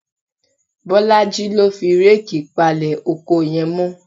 Bọ́lájí ló fi réèkì palẹ̀ oko yẹn mọ